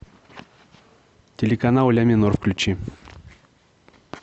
телеканал ля минор включи